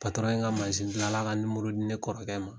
ye n ka gilala ka di ne kɔrɔkɛ ma.